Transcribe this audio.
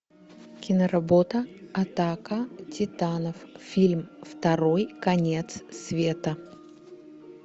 киноработа атака титанов фильм второй конец света